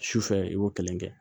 Su fɛ i b'o kelen kɛ